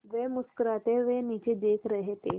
वे मुस्कराते हुए नीचे देख रहे थे